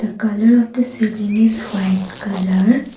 colour of the seating is white colour.